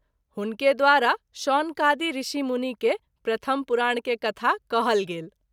हुनके द्वारा शौनकादि ऋषि मुनि के प्रथम पुराण के कथा कहल गेल।